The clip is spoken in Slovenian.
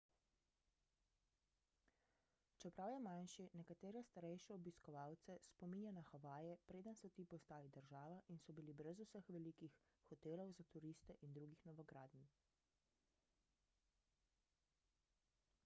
čeprav je manjši nekatere starejše obiskovalce spominja na havaje preden so ti postali država in so bili brez vseh velikih hotelov za turiste in drugih novogradenj